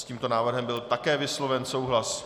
S tímto návrhem byl také vysloven souhlas.